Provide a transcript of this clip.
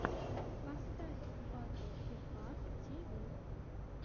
поставь батл фифа ти ви